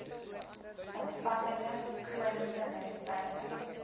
omvattende chroniese medisyne